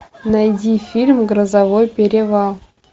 найди фильм грозовой перевал